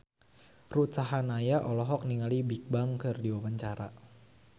Ruth Sahanaya olohok ningali Bigbang keur diwawancara